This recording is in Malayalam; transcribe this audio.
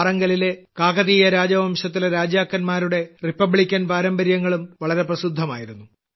വാറങ്കലിലെ കാകതീയ രാജവംശത്തിലെ രാജാക്കന്മാരുടെ റിപ്പബ്ലിക്കൻ പാരമ്പര്യങ്ങളും വളരെ പ്രസിദ്ധമായിരുന്നു